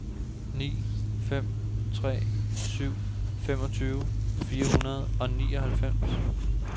ni fem tre syv femogtyve fire hundrede og nioghalvfems